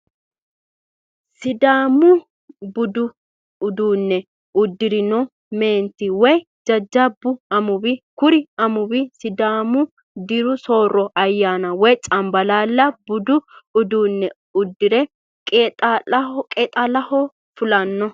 Sidaamu budu uduu'ne udirinno meentto woyi jajaba amuwa, kuri amuwi sidaamu diro sooro ayanira woyi cambalaallate budu udiu'ne udire qeexalaho fulano